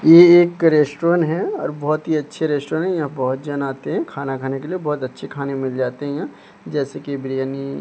ये एक रेस्टोरेंट है और बहोत ही अच्छे रेस्टोरेंट है यहां बहोत जन आते हैं खाना खाने के लिए बहोत अच्छे खाने मिल जाते हैं यहां जैसे की बिरियानी --